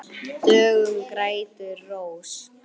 Döggum grætur rós.